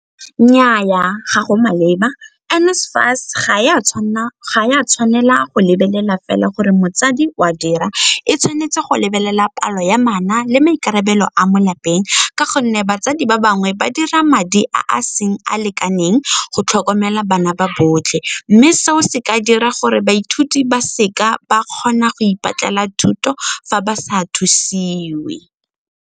Nnyaa, ga go maleba. N_SFAS ga e a tshwanela go lebelela fela gore motsadi o a dira, e tshwanetse go lebelela palo ya bana le maikarabelo a mo lapeng ka gonne batsadi ba bangwe ba dira madi a a seng a lekaneng go tlhokomela bana ba botlhe mme seo se ka dira gore baithuti ba seka ba kgona go ipatlela thuto fa ba sa thusiwe.